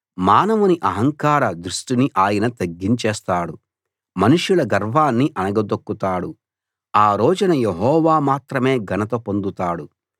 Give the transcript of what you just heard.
మానవుని అహంకార దృష్టిని ఆయన తగ్గించేస్తాడు మనుషుల గర్వాన్ని అణగదొక్కుతాడు ఆ రోజున యెహోవా మాత్రమే ఘనత పొందుతాడు